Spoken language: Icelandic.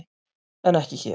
En ekki hér.